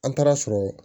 An taara sɔrɔ